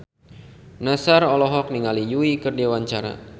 Nassar olohok ningali Yui keur diwawancara